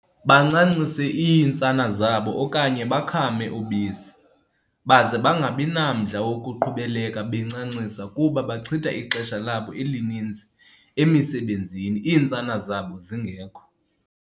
bancancise iintsana zabo okanye bakhame ubisi, baze bangabi namdla wokuqhubeleka be ncancisa kuba bachitha ixesha labo elininzi emisebenzini iintsana zabo zingekho.